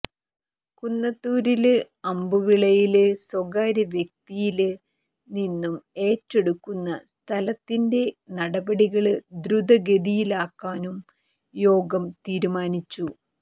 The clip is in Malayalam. കുന്നത്തൂരില് അമ്പുവിളയില് സ്വകാര്യവ്യക്തിയില് നിന്നും ഏറ്റെടുക്കുന്ന സ്ഥലത്തിന്റെ നടപടികള് ദ്രുതഗതിയിലാക്കാനും യോഗം തീരുമാനിച്ചു